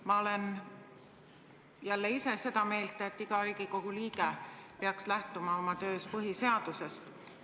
Mina aga olen seda meelt, et iga Riigikogu liige peaks lähtuma oma töös põhiseadusest.